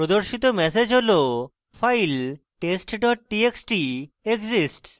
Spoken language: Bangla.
প্রদর্শিত ম্যাসেজ হল file test txt exists